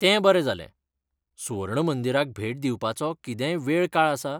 तें बरें जालें. सुवर्ण मंदिराक भेट दिवपाचो कितेंय वेळकाळ आसा?